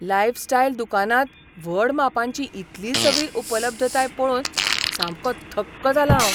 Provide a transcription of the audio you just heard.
Lifestyle दुकानांत व्हड मापांची इतली सगळी उपलब्धताय पळोवन सामको थक्क जालां हांव.